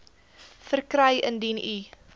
verkry indien u